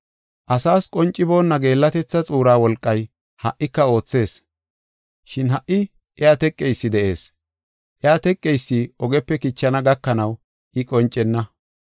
Asaas qonciboonna geellatetha xuura wolqay ha77ika oothees, shin ha77i iya teqeysi de7ees. Iya teqeysi ogepe kichana gakanaw I qoncenna.